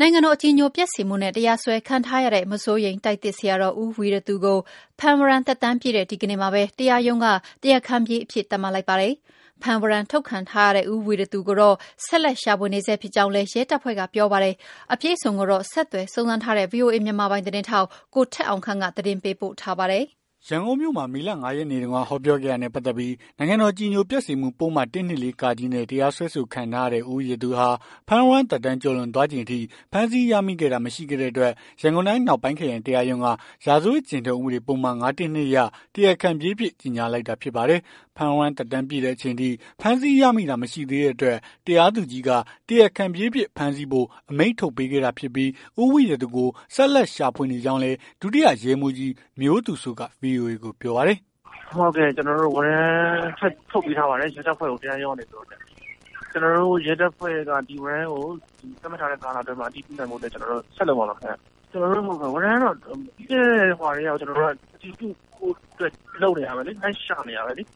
နိုင်ငံတော် အကြည်ညိုပျက်စေမှုနဲ့ တရားစွဲခံထားရတဲ့ မစိုးရိမ်တိုက်သစ်ဆရာတော် ဦးဝီရသူ ကို ဖမ်းဝရမ်းသက်တမ်းပြည့်တဲ့ ဒီနေ့မှာပဲ တရားရုံးက တရားခံပြေးအဖြစ် သတ်မှတ်လိုက်ပါတယ်။ ဖမ်းဝရမ်းထုတ်ခံထားရတဲ့ ဦးဝီရသူကိုတော့ ဆက်လက် ရှာဖွေနေဆဲ ဖြစ်ကြောင်းလည်း ရဲတပ်ဖွဲ့က ပြောပါတယ်။ အပြည့်အစုံကိုတော့ ဆက်သွယ်စုံစမ်းထားတဲ့ ဗွီအိုအေ မြန်မာပိုင်း သတင်းထောက် ကိုထက်အောင်ခန့်က သတင်းပေးပို့ထားပါတယ်။ ရန်ကုန်မြို့မှာ မေလ ၅ ရက်နေ့တုန်းက ဟောပြောခဲ့တာနဲ့ ပတ်သက်ပြီး နိုင်ငံတော် အကြည်ညိုပျက်စေမှု ပုဒ်မ ၁၂၄ နဲ့ တရားစွဲခံထားရတဲ့ ဦးဝီရသူဟာ ဖမ်းဝရမ်းသက်တမ်း ကျော်လွန်သွားချိန် အထိ ဖမ်းဆီးရမိတာ မရှိခဲ့တဲ့အတွက် ရန်ကုန်တိုင်း အနောက်ပိုင်း ခရိုင်တရားရုံးက ရာဇဝတ်ကျင့်ထုံး ဥပဒေပုဒ်မ ၅၁၂ အရ တရားခံပြေးအဖြစ် ကြေငြာလိုက်တာ ဖြစ်ပါတယ်။ ဖမ်းဝရမ်း သက်တမ်းပြည့်တဲ့ အချိန်အထိ ဖမ်းဆီးရမိတာ မရှိသေးတဲ့အတွက် တရားသူကြီးက တရားခံပြေးအဖြစ် ဖမ်းဆီးဖို့ အမိန့်ထုတ်ပေးခဲ့တာဖြစ်ပြီး၊ ဦးဝီရသူကို ဆက်လက်ရှာဖွေနေကြောင်းလည်း ဒုတိယ ရဲမှူးကြီး မျိုးသူစိုးက ဗွီအိုအေကို ပြောပါတယ်။ "ကျနော်တို့ကို ဝရမ်းထပ်ထုတ်ပေးထားပါတယ်။ ရဲတပ်ဖွဲ့ကို တရားရုံးကနေပြီးတော့ ဒီဝရမ်းကို ကျနော်တို့ရဲတပ်ဖွဲ့က သတ်မှတ်ထားတဲ့ ကာလအတွင်းမှာ အတည်ပြုနိုင်ဖို့ ဆက်လုပ်မှာပါခင်ဗျ။ ကျွန်တော်တို့ ဝရမ်းကတော့ ပြီးခဲ့တဲ့ ဟိုဟာကတည်းက အတည်ပြုဖို့အတွက် လုပ်နေတာပဲလေ။ လိုက်ရှာနေတာပဲလေ။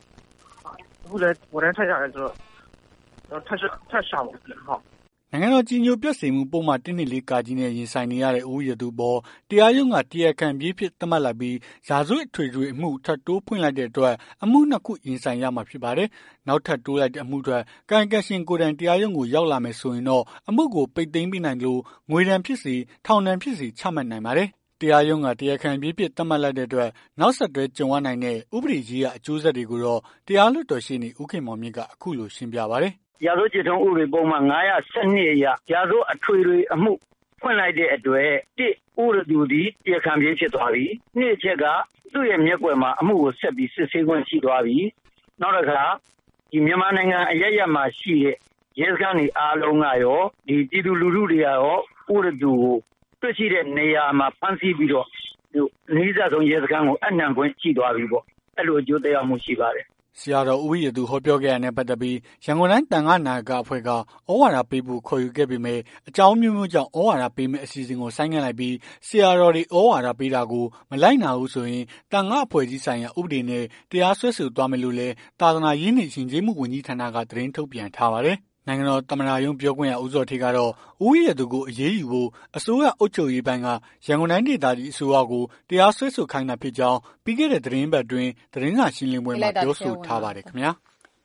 အခုလည်း ဝရမ်းထပ်ရတယ်ဆိုတော့ ထပ်ရှာမှာပေါ့။" နိုင်ငံတော် အကြည်ညိုပျက်စေမှု ပုဒ်မ ၁၂၄ နဲ့ ရင်ဆိုင်နေရတဲ့ ဦးဝီရသူအပေါ် တရားရုံးက တရားခံပြေးအဖြစ် သတ်မှတ်လိုက်ပြီး ရာဇဝတ်အထွေထွေအမှု ထပ်ထိုးဖွင့်လိုက်တဲ့အတွက် အမှု နှစ် ခု ရင်ဆိုင်ရမှာ ဖြစ်ပါတယ်။ နောက်ထပ်တိုးလိုက်တဲ့ အမှုအတွက် ကာယံကံရှင်ကိုယ်တိုင် တရားရုံးကို ရောက်လာမယ် ဆိုရင်တော့ အမှုကို ပိတ်သိမ်းပေးနိုင်သလို ငွေဒဏ်ဖြစ်စေ၊ ထောင်ဒဏ်ဖြစ်စေ ချမှတ်နိုင်ပါတယ်။ တရားရုံးက တရားခံပြေးအဖြစ် သတ်မှတ်လိုက်တဲ့အတွက် နောက်ဆက်တွဲ ကြုံရနိုင်တဲ့ ဥပဒေရေးရာ အကျိုးဆက်တွေကိုတော့ တရားလွှတ်တော် ရှေ့နေ ဦးခင်မောင်မြင့်က အခုလို ရှင်းပြပါတယ်။ "ရာဇဝတ်ကျင့်ထုံး ဥပဒေပုဒ်မ ၅၁၂ အရ ရာဇဝတ်အထွေထွေအမှု ဖွင့်လိုက်တဲ့အတွက် ၁ ဦးဝီရသူသည် တရားခံပြေး ဖြစ်သွားပြီ ၂ အချက်က သူ့ရဲ့မျက်ကွယ်မှာ အမှုကို ဆက်ပြီး စစ်ဆေးခွင့်ရှိသွားပြီ နောက်တခါ မြန်မာနိုင်ငံ အရပ်ရပ်မှာရှိတဲ့ ရဲစခန်းတွေ အားလုံးကကော ပြည်သူလူထုတွေ အားလုံးကကော ဦးဝီရသူကို တွေ့ရှိတဲ့နေရာမှာ ဖမ်းဆီးပြီးတော့ အနီးစပ်ဆုံး ရဲစခန်းကို အပ်နှံခွင့်ရှိသွားပြီပေါ့။ အဲ့လိုအကျိုး သက်ရောက်မှု ရှိပါတယ်။" ဆရာတော် ဦးဝီရသူ ဟောပြောခဲ့တာနဲ့ ပတ်သက်ပြီး ရန်ကုန်တိုင်းသံဃနာယက အဖွဲ့က သြဝါဒပေးဖို့ ခေါ်ယူခဲ့ပေမယ့် အကြောင်းအမျိုးအမျိုးကြောင့် သြဝါဒပေးမယ့် အစီအစဉ်ကို ဆိုင်းငံ့လိုက်ပြီး ဆရာတော်တွေ သြဝါဒပေးတာကို မလိုက်နာဘူးဆိုရင် သံဃာ့အဖွဲ့အစည်းဆိုင်ရာ ဥပဒေနဲ့ တရားစွဲဆိုသွားမယ်လို့လည်း သာသနာရေးနှင့် ယဉ်ကျေးမှု ဝန်ကြီးဌာနက သတင်းထုတ်ပြန်ထားပါတယ်။ နိုင်ငံတော် သမ္မတရုံး ပြောခွင့်ရ ဦးဇော်ဌေးကတော့ ဦးဝီရသူကို အရေးယူဖို့ အစိုးရ အုပ်ချုပ်ရေးပိုင်းက ရန်ကုန်တိုင်းဒေသကြီး အစိုးရကို တရားစွဲဆိုခိုင်းတာဖြစ်ကြောင်း ပြီးခဲ့တဲ့ သီတင်းပတ်အတွင်း သတင်းစာရှင်းလင်းပွဲမှာ ပြောဆိုထားပါတယ်ခင်ဗျာ။